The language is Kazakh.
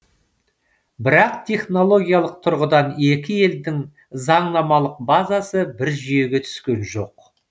бірақ технологиялық тұрғыдан екі елдің заңнамалық базасы бір жүйеге түскен жоқ